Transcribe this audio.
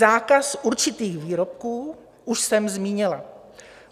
Zákaz určitých výrobků už jsem zmínila.